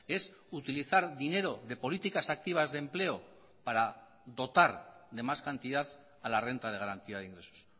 es utilizar dinero de políticas activas de empleo para dotar de más cantidad a la renta de garantía de ingresos